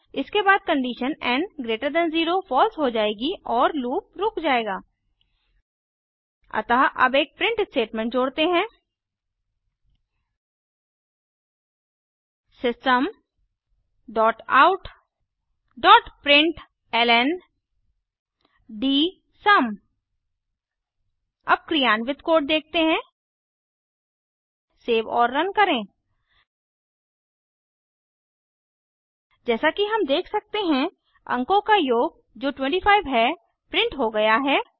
इसके बाद condition N greater than 0 false हो जायेगी और लूप रुक जाएगा अतः अब एक प्रिंट स्टेटमेंट जोड़ते हैं systemoutप्रिंटलन अब क्रियान्वित कोड देखते हैंसेव और रन करें जैसा कि हम देख सकते हैं अंकों का योग जो 25 है प्रिंट हो गया है